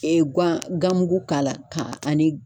guan ganmugu k'a la ka ni